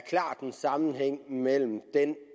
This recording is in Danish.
er en sammenhæng mellem